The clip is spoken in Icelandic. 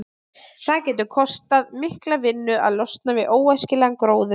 Það getur kostað mikla vinnu að losna við óæskilegan gróður.